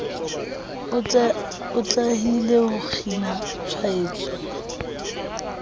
o atlehile ho kgina tshwaetso